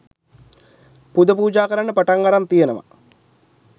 පුද පූජා කරන්න පටන් අරන් තියනවා.